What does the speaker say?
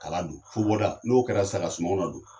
Ka a ladon fo n'o kɛra sisa ka sunɔgɔ ladon.